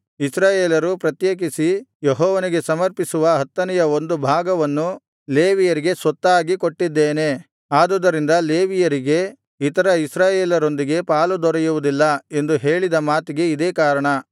ಇಸ್ರಾಯೇಲರು ಪ್ರತ್ಯೇಕಿಸಿ ಯೆಹೋವನಿಗೆ ಸಮರ್ಪಿಸುವ ಹತ್ತನೆಯ ಒಂದು ಭಾಗವನ್ನು ಲೇವಿಯರಿಗೆ ಸ್ವತ್ತಾಗಿ ಕೊಟ್ಟಿದ್ದೇನೆ ಆದುದರಿಂದ ಲೇವಿಯರಿಗೆ ಇತರ ಇಸ್ರಾಯೇಲರೊಂದಿಗೆ ಪಾಲು ದೊರೆಯುವುದಿಲ್ಲ ಎಂದು ಹೇಳಿದ ಮಾತಿಗೆ ಇದೇ ಕಾರಣ